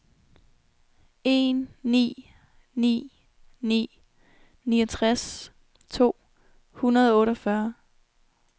en ni ni ni niogtres to hundrede og otteogfyrre